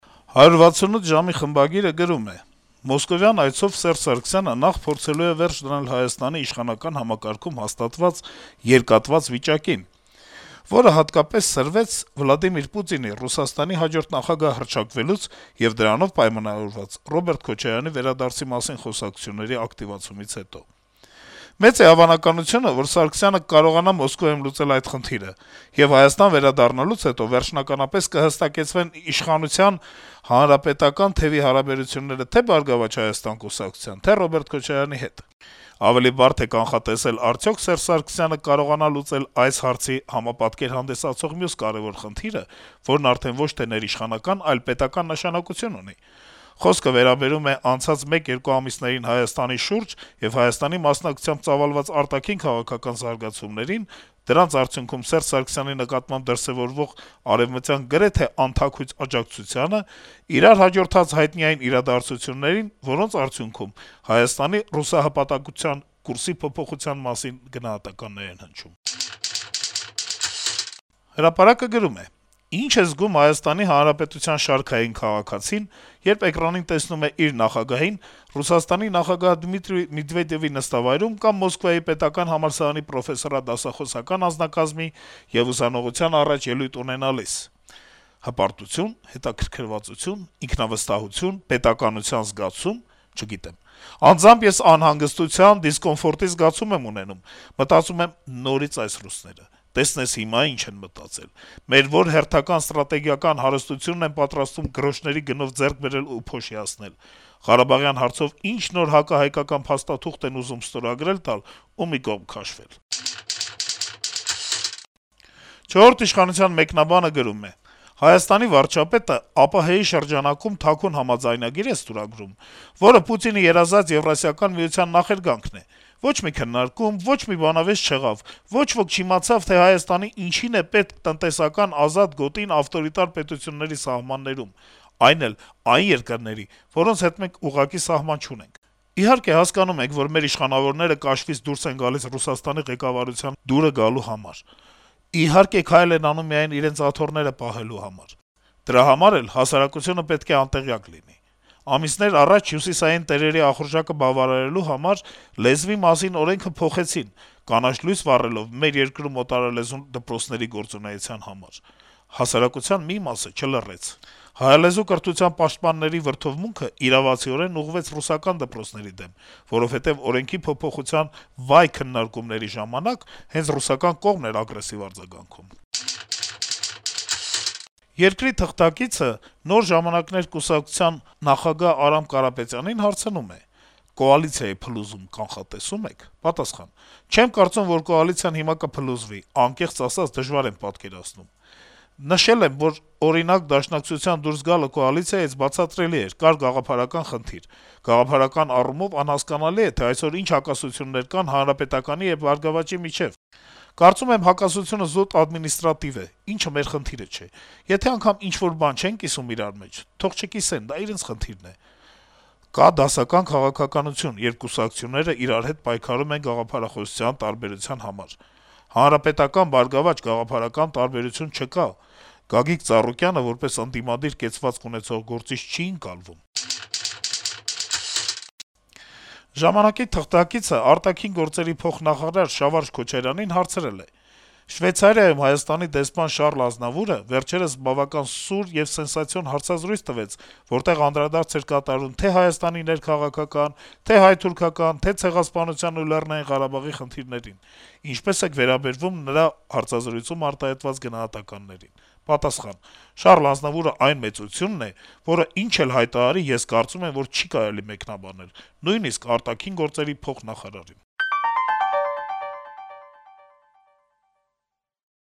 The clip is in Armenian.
«168 ժամ»-ի խմբագիրը գրում է. - «Մոսկովյան այցով Ս. Սարգսյանը նախ փորձելու է վերջ դնել Հայաստանի իշխանական համակարգում հաստատված «երկատված» վիճակին, որը հատկապես սրվեց Վլադիմիր Պուտինի` ՌԴ հաջորդ նախագահ հռչակվելուց եւ դրանով պայմանավորված` Ռոբերտ Քոչարյանի վերադարձի մասին խոսակցությունների ակտիվացումից հետո: Մեծ է հավանականությունը, որ Ս. Սարգսյանը կկարողանա Մոսկվայում լուծել այդ խնդիրը, եւ Հայաստան վերադառնալուց հետո վերջնականապես կհստակեցվեն իշխանության ՀՀԿ-ական թեւի հարաբերությունները թե «Բարգավաճ Հայաստան» կուսակցության, թե Ռոբերտ Քոչարյանի հետ: Ավելի բարդ է կանխատեսել` արդյո՞ք Ս. Սարգսյանը կկարողանա լուծել այս այցի համապատկեր հանդիսացող մյուս կարեւոր խնդիրը, որն արդեն ոչ թե ներիշխանական, այլ պետական նշանակություն ունի: Խոսքը վերաբերում է անցած մեկ-երկու ամիսներին Հայաստանի շուրջ եւ Հայաստանի մասնակցությամբ ծավալված արտաքին քաղաքական զարգացումներին, դրանց արդյունքում Ս. Սարգսյանի նկատմամբ դրսեւորվող արեւմտյան գրեթե անթաքույց աջակցությանը, իրար հաջորդած հայտնի այն իրադարձություններին, որոնց արդյունքում Հայաստանի` «ռուսահպատակության» կուրսի փոփոխության մասին գնահատականներ են հնչում»: «Հրապարակ»-ը գրում է. - «Ի՞նչ է զգում Հայաստանի Հանրապետության շարքային քաղաքացին, երբ էկրանին տեսնում է իր նախագահին` Ռուսաստանի նախագահ Դմիտրի Մեդվեդեւի նստավայրում կամ Մոսկվայի պետական համալսարանի պրոֆեսորադասախոսական անձնակազմի ու ուսանողության առաջ ելույթ ունենալիս: Հպարտությո՞ւն, հետաքրքրվածությո՞ւն, ինքնավստահությո՞ւն, պետականության զգացո՞ւմ: Չգիտեմ: Անձամբ ես անհանգստության, դիսկոմֆորտի զգացում եմ ունենում: Մտածում եմ՝ նորից այս ռուսները: Տեսնես հիմա ի՞նչ են մտածել: Մեր ո՞ր հերթական ստրատեգիական հարստությունն են պատրաստվում գրոշների գնով ձեռք բերել ու փոշիացնել: Ղարաբաղի հարցով ի՞նչ նոր, հակահայկական փաստաթուղթ են ուզում ստորագրել տալ ու մի կողմ քաշվել»: «Չորրորդ ինքնիշխանության» մեկնաբանը գրում է. - «Հայաստանի վարչապետը ԱՊՀ-ի շրջանակում թաքուն համաձայնագիր է ստորագրում, որը Պուտինի երազած Եվրասիական միության նախերգանքն է: Ոչ մի քննարկում, ոչ մի բանավեճ չեղավ, ոչ ոք չիմացավ, թե Հայաստանի ինչին է պետք «տնտեսական ազատ գոտին» ավտորիտար պետությունների սահմաններում, այն էլ այն երկրների, որոնց հետ մենք ուղղակի սահման չունենք: Իհարկե, հասկանում ենք, որ մեր իշխանավորները կաշվից դուրս են գալիս Ռուսաստանի ղեկավարությանը դուր գալու համար: Իհարկե, քայլ են անում միայն իրենց աթոռները պահելու համար: Դրա համար էլ հասարակությունը պետք է անտեղյակ լինի: Ամիսներ առաջ հյուսիսային տերերի ախորժակը բավարարելու համար «Լեզվի մասին» օրենքը փոխեցին` կանաչ լույս վառելով մեր երկրում օտարալեզու դպրոցների գործունեության համար: Հասարակության մի մասը չլռեց: Հայալեզու կրթության պաշտպանների վրդովմունքն իրավացիորեն ուղղվեց ռուսական դպրոցների դեմ, որովհետեւ օրենքի փոփոխության վայ-քննարկումների ժամանակ հենց ռուսական կողմն էր ագրեսիվ արձագանքում»: «Երկրի» թղթակիցը «Նոր ժամանակներ» կուսակցության նախագահ Արամ Կարապետյանին հարցնում է. - «Կոալիցիայի փլուզում կանխատեսո՞ւմ եք»: Կարապետյանը պատասխանում է. - «Չեմ կարծում, որ կոալիցիան հիմա կփլուզվի, անկեղծ ասած` դժվար եմ պատկերացնում: Նշել եմ, որ, օրինակ, Դաշնակցության դուրս գալը կոալիցիայից բացատրելի էր. կար գաղափարական խնդիր: Գաղափարական առումով անհասկանալի է, թե ինչ հակասություններ կան ՀՀԿ-ի եւ ԲՀԿ-ի միջեւ: Կարծում եմ` հակասությունը զուտ ադմինիստրատիվ է, ինչն էլ մեր խնդիրը չէ: Եթե անգամ ինչ-որ բան չեն կիսում իրար մեջ, թող չկիսեն, դա իրենց խնդիրն է: Կա դասական քաղաքականություն, երբ կուսակցություններն իրար հետ պայքարում են գաղափարախոսության տարբերության համար. ՀՀԿ-ԲՀԿ գաղափարական տարբերություն չկա: Ինչպես մեր դեպքում, այնպես էլ ԲՀԿ-ում, ամեն ինչ հենվում է առաջնորդի անձնական իմիջի վրա: Գագիկ Ծառուկյանը որպես ընդդիմադիր կեցվածք ունեցող գործիչ չի ընկալվում»: «Ժամանակ»-ի թղթակիցը արտաքին գործերի փոխնախարար Շավարշ Քոչարյանին հարցրել է. - «Շվեյցարիայում Հայաստանի դեսպան Շառլ Ազնավուրը վերջերս բավականին սուր եւ սենսացիոն հարցազրույց տվեց, որտեղ անդրադարձ էր կատարվում թե Հայաստանի ներքաղաքական, թե հայ-թուրքական, թե Ցեղասպանության եւ Լեռնային Ղարաբաղի խնդիրներին: Ինչպե՞ս եք վերաբերվում նրա հարցազրույցներում արտահայտված գնահատականներին»: Քոչարյանը պատասխանում է. - «Շառլ Ազնավուրը այն մեծությունն է, որը ինչ էլ հայտարարի, ես կարծում եմ, որ չի կարելի մեկնաբանել: Նույնիսկ` արտաքին գործերի փոխնախարարին»: